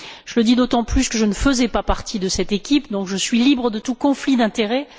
Je le dis d'autant plus que je ne faisais pas partie de cette équipe, donc je suis libre de tout conflit d'intérêts.